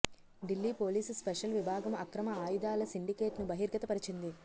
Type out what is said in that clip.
Delhi police special విభాగం అక్రమ ఆయుధాల సిండికేట్ను బహిర్గతపరిచింది